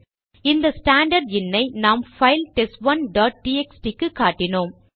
அந்த standard in ஐ நாம் பைல் டெஸ்ட் 1டாட் டிஎக்ஸ்டி க்கு காட்டினோம்